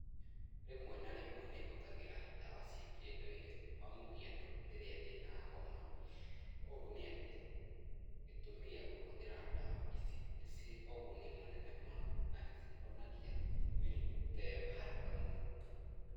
Rĩmwe na rĩmwe nĩ hũthagĩra ndawa cia kĩ ndũire kwa mũhiano rĩrĩa ndĩ na homa, ũũ nĩ atĩ, gĩtũmi gĩa kũhũthĩra dawa ici nĩ ci ũguni mũnene mũno na nĩ cihonagia mĩrĩmũ ta ĩyo haraka mũno.